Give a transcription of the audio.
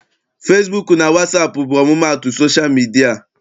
Fesibuuku na wasaapụ bụ ọmụmaatụ sosha midia.